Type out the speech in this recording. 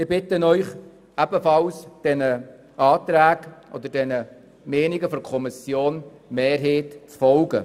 Ich bitte Sie, der Meinung der Kommissionsmehrheit zu folgen.